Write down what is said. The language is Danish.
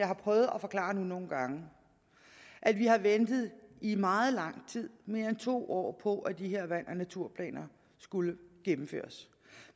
har prøvet at forklare nogle gange at vi har ventet i meget lang tid i mere end to år på at de her vand og naturplaner skulle gennemføres